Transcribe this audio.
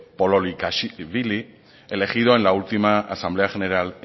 pololikashvili elegido en la última asamblea general